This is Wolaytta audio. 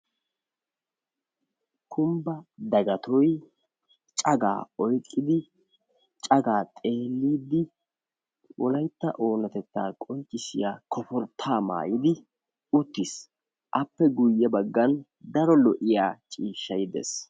kumbbe daggattoy cagaa poyqqidi cagaa xeeliidi wolaytta oonatettaa qonccissiya tuuttaa maayidi uttis. appe guye bagan daro lo'iya ciishshay de'ees.